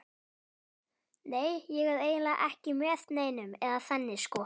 Nei, ég er eiginlega ekki með neinum, eða þannig sko.